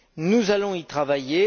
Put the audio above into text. Nous allons y travailler.